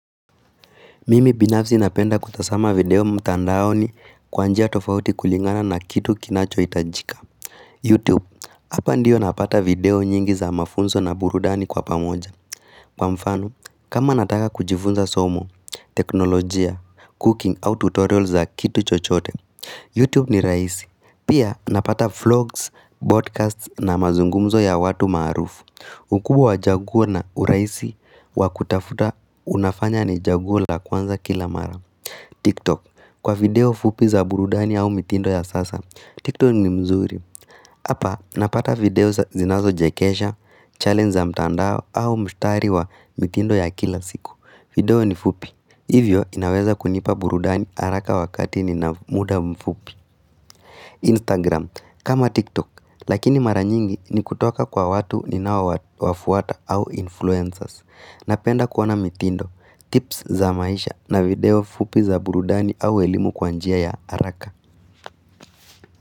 Mimi binafsi napenda kutazama video mtandaoni kwa njia tofauti kulingana na kitu kinacho hitajika YouTube, hapa ndiyo napata video nyingi za mafunzo na burudani kwa pamoja Kwa mfano, kama nataka kujifunza somo, teknolojia, cooking au tutorial za kitu chochote YouTube ni rahisi, pia napata vlogs, podcasts na mazungumzo ya watu maarufu ukubwa wa uchaguo na urahisi wa kutafuta unafanya ni chaguo la kwanza kila mara. TikTok Kwa video fupi za burudani au mitindo ya sasa, TikTok ni mzuri. Hapa napata video zinazochekesha, challenge za mtandao au mshtari wa mitindo ya kila siku. Video ni fupi. Hivyo inaweza kunipa burudani haraka wakati ni na muda mfupi. Instagram kama TikTok lakini mara nyingi ni kutoka kwa watu ni nao wafuata au influencers. Napenda kuona mitindo, tips za maisha na video fupi za burudani au elimu kwa njia ya haraka.